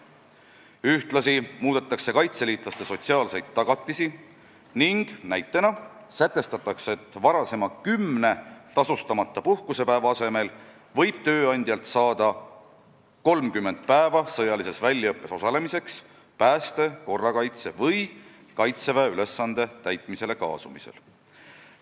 Ühtlasi muudetakse kaitseliitlaste sotsiaalseid tagatisi ning näiteks sätestatakse, et varasema kümne tasustamata puhkusepäeva asemel võib tööandjalt saada 30 päeva sõjalises väljaõppes osalemiseks, pääste, korrakaitse või Kaitseväe ülesande täitmisele kaasamisel.